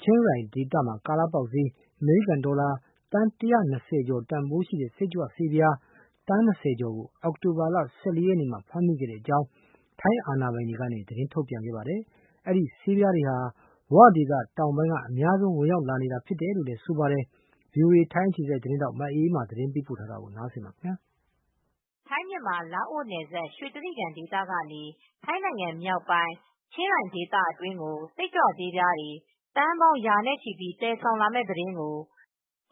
ချင်းရိုင်ဒေသမှာ ကာလပေါက်ဈေး အမေရိကန်ဒေါ်လာ သန်း ၁၂၀ ကျော် တန်ဖိုးရှိတဲ့ စိတ်ကြွဆေးပြား သန်း ၂၀ ကျော်ကို အောက်တိုဘာလ ၁၄ ရက်နေ့မှာ ဖမ်းမိတဲ့အကြောင်း ထိုင်းအာဏာပိုင်တွေက သတင်း ထုတ်ပြန်ပါတယ်။ ဒီစိတ်ကြွဆေးတွေဟာ ထိုင်းနိုင်ငံထဲကို မြန်မာနိုင်ငံ၊ ဝဒေသ တောင်ပိုင်းကနေ အများဆုံး ဝင်လာနေတာ ဖြစ်တယ်လို့လည်း ဆိုပါတယ်။ ဗွီအိုအေ ထိုင်းအခြေစိုက်သတင်းထောက် မအေးအေးမာက သတင်းပေးပို့ထားပါတယ်။ ထိုင်း-မြန်မာ လာအိုနယ်စပ် ရွှေတြိဂံဒေသကနေ ထိုင်းနိုင်ငံမြောက်ပိုင်း ချင်းရိုင်ဒေသ အတွင်း ကို စိတ်ကြွဆေးပြားတွေ သန်းပေါင်းရာနဲ့ချီပြီး သယ်ဆောင်လာမယ့် သတင်းကို